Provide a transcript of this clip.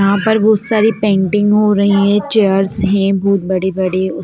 यहाँ पर बहुत सारी पेंटिंग हो रही है चेयर्स है बहुत बड़े बड़े--